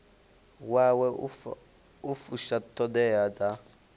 wawe u fusha ṱhoḓea dza